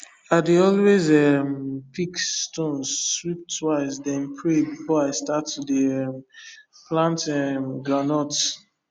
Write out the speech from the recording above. i dey always um pick stones sweep twice then pray before i start to dey um plant um groundnuts